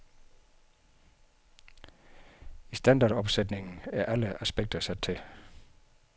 I standardopsætningen er alle aspekter sat til.